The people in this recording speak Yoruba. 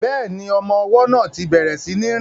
Bẹ́ẹ̀ni, ọmọ ọwọ́ náà ti bẹ̀rẹ̀ sí ní rìn